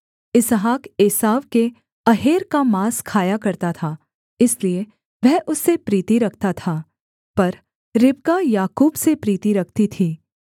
इसहाक एसाव के अहेर का माँस खाया करता था इसलिए वह उससे प्रीति रखता था पर रिबका याकूब से प्रीति रखती थी